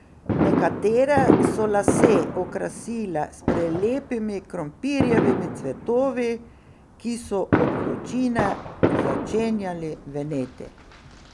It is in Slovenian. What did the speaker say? Nekatere so lase okrasile s prelepimi krompirjevimi cvetovi, ki so od vročine začenjali veneti.